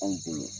Anw bolo